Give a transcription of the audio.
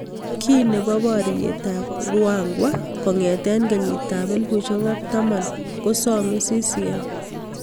Kii nebo bororiet ab Ruangwa kongetee kenyit ab 2010 kosomee CCm